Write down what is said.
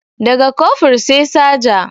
Da ga Kofur sai Saja